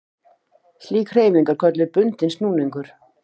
Slík hreyfing er kölluð bundinn snúningur.